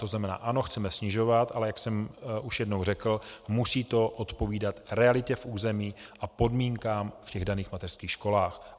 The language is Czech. To znamená ano, chceme snižovat, ale jak jsem už jednou řekl, musí to odpovídat realitě v území a podmínkám v těch daných mateřských školách.